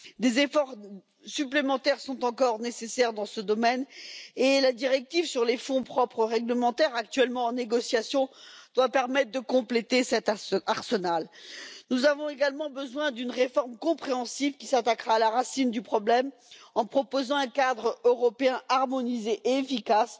Des efforts supplémentaires sont encore nécessaires dans ce domaine et la directive sur les fonds propres réglementaires, actuellement en négociation, doit permettre de compléter cet arsenal. Nous avons également besoin d'une réforme générale qui s'attaquera à la racine du problème en proposant un cadre européen harmonisé et efficace,